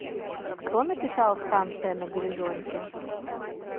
кто написал станция на горизонте